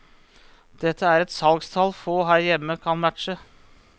Det er et salgstall få her hjemme kan matche.